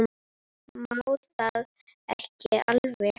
Má það ekki alveg?